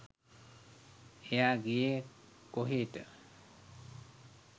එයා ගියේ කොහෙට